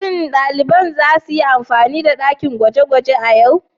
Shin daliban za su yi amfani da dakin gwaje-gwaje a yau?